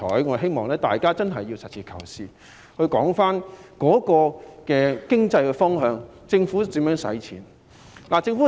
我希望大家實事求是，循經濟方向來討論政府如何使用撥款。